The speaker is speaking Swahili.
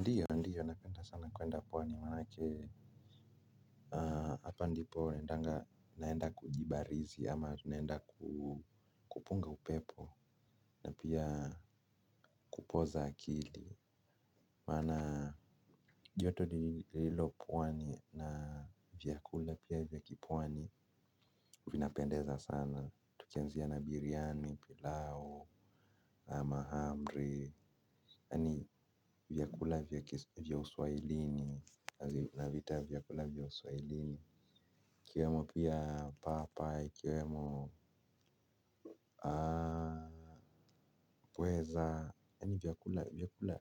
Ndiyo na ndiyo, napenda sana kwenda pwani, manake, hapa ndipo, endanga, naenda kujibarizi, ama naenda kupunga upepo, na pia kupoza akili, maana, joto lililopwani, na vyakula pia vyakipwani, vina pendeza sana, tukianzia na biryani, pilau, na mahmri, yani vyakula vya uswahilini, na vita vyakula vya uswahilini. Kiwemo pia papa, ikiwemo Kweza, yani vyakula vyakula